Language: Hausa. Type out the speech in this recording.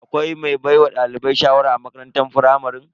Akwai mai baiwa dalibai shawara a makarantar firamare.